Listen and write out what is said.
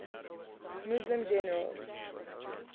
muslim generals